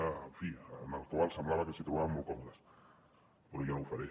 en fi en la qual semblava que es trobaven molt còmodes però jo no ho faré